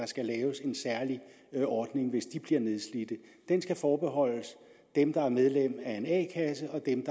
skal laves en særlig ordning hvis de bliver nedslidte den skal forbeholdes dem der er medlem af en a kasse og dem